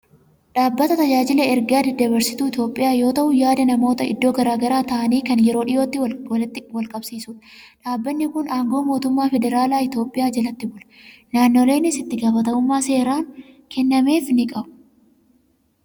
Dhaabbata Tajaajila Ergaa Daddabarsituu Itoophiyaa yoo ta'u, yaada namoota iddoo garaa garaa taa'anii kan yeroo dhiyootti wal qaqqabsiisudha. Dhaabbanni kun aangoo mootummaa Federaalaa Itoophiyaa jalatti bula. Naannoleenis itti gaafatamummaa seeraan kennameefii ni qabu.